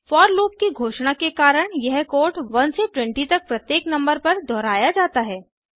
four loop की घोषणा के कारण यह कोड 1 से 20 तक प्रत्येक नंबर पर दोहराया जाता है